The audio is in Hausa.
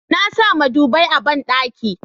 na sa madubi a banɗaki